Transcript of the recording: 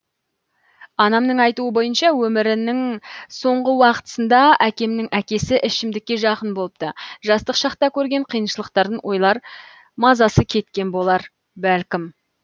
анамның айтуы бойынша өмірінің соңғы уақытысында әкемнің әкесі ішімдікке жақын болыпты жастық шақта көрген қиыншылықтарын ойлар мазасы кеткен болар бәлкім